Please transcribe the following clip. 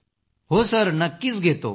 हो सर नक्कीच घेतो